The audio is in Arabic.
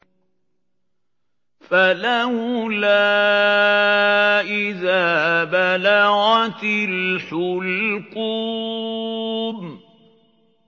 فَلَوْلَا إِذَا بَلَغَتِ الْحُلْقُومَ